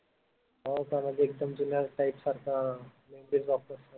हो का म्हणजे एकदम जुन्या type सारखं